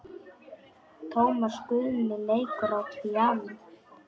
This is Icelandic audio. Tómas Guðni leikur á píanó.